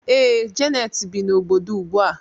Ee, Janet bi n'obodo ugbu a.